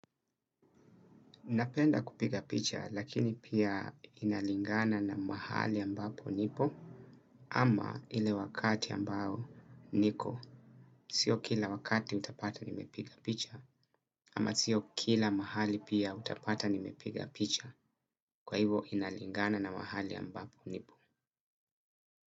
Napenda kupiga picha lakini pia inalingana na mahali ambapo nipo ama ile wakati ambao niko. Sio kila wakati utapata nimepiga picha ama sio kila mahali pia utapata nimepiga picha kwa hivo inalingana na mahali ambapo nipo.